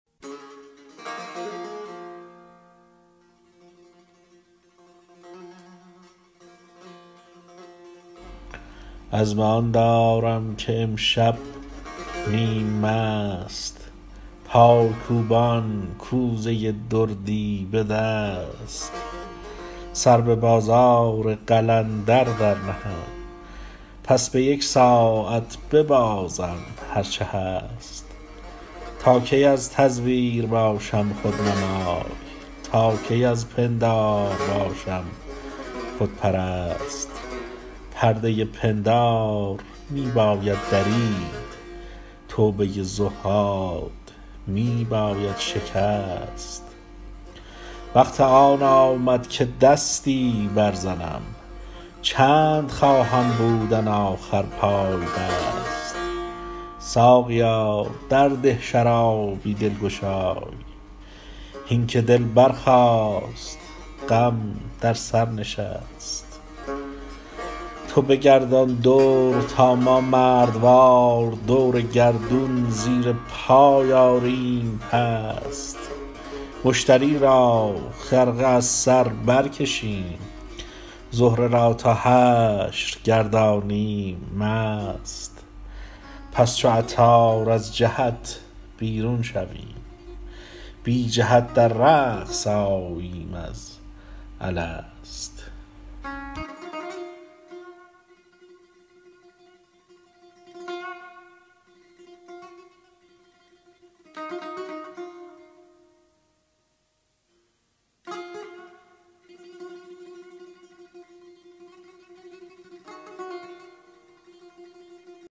عزم آن دارم که امشب نیم مست پای کوبان کوزه دردی به دست سر به بازار قلندر برنهم پس به یک ساعت ببازم هرچه هست تا کی از تزویر باشم رهنمای تا کی از پندار باشم خودپرست پرده پندار می باید درید توبه تزویر می باید شکست وقت آن آمد که دستی برزنم چند خواهم بودن آخر پای بست ساقیا درده شرابی دلگشای هین که دل برخاست غم بر سر نشست تو بگردان دور تا ما مردوار دور گردون زیر پای آریم پست مشتری را خرقه از بر برکشیم زهره را تا حشر گردانیم مست همچو عطار از جهت بیرون شویم بی جهت در رقص آییم از الست